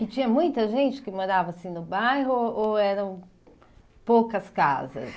E tinha muita gente que morava assim no bairro ou eram poucas casas?